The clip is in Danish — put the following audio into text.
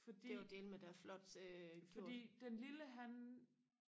fordi fordi den lille han